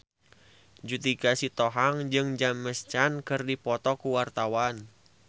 Judika Sitohang jeung James Caan keur dipoto ku wartawan